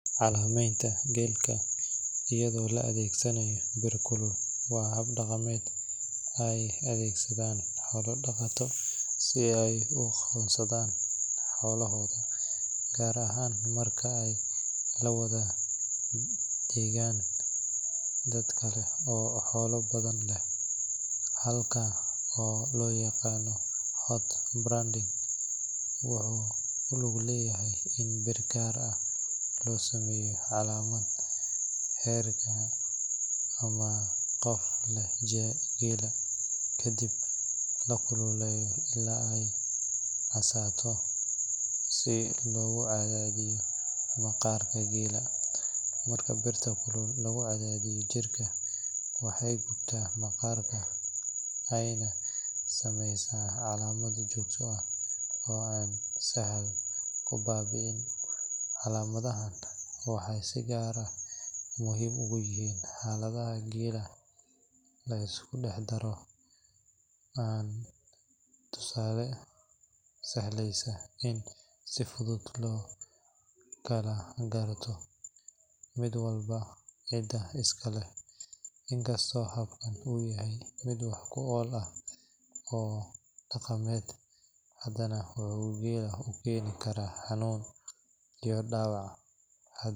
Calaamadeynta geelka iyadoo la adeegsanayo bir kulul waa hab dhaqameed ay adeegsadaan xoola dhaqatada si ay u aqoonsadaan xoolahooda, gaar ahaan marka ay la wada degaan dad kale oo xoolo badan leh. Habkan oo loo yaqaan hot branding wuxuu ku lug leeyahay in bir gaar ah loo sameeyo calaamadda reerka ama qofka leh geela, kadibna la kululeeyo ilaa ay casaato si loogu cadaadiyo maqaarka geela. Marka birta kulul lagu cadaadiyo jirka, waxay gubtaa maqaarka ayna sameysaa calaamad joogto ah oo aan sahal ku baaba'in. Calaamadahan waxay si gaar ah muhiim ugu yihiin xaaladaha geela la isku dhex daro, taasoo sahleysa in si fudud loo kala garto mid walba cidda iska leh. Inkastoo habkan uu yahay mid wax ku ool ah oo dhaqameed, haddana wuxuu geela u keeni karaa xanuun iyo dhaawac .